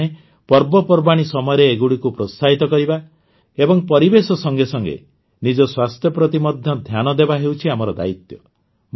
ଆମେମାନେ ପର୍ବପର୍ବାଣୀ ସମୟରେ ଏଗୁଡ଼ିକୁ ପ୍ରୋତ୍ସାହିତ କରିବା ଏବଂ ପରିବେଶ ସଙ୍ଗେ ସଙ୍ଗେ ନିଜ ସ୍ୱାସ୍ଥ୍ୟ ପ୍ରତି ମଧ୍ୟ ଧ୍ୟାନ ଦେବା ହେଉଛି ଆମର ଦାୟିତ୍ୱ